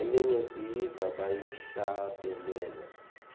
leminye siyiva bayihlabelela